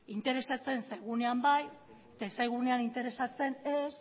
interesatzen zaigunean bai eta ez zaigunean interesatzen ez